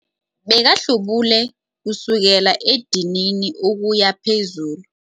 Bekahlubule kusukela edinini ukuya phezulu.